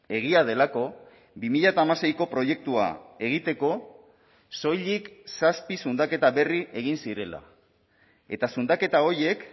egia delako bi mila hamaseiko proiektua egiteko soilik zazpi zundaketa berri egin zirela eta zundaketa horiek